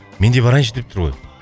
менде барайыншы деп тұр ғой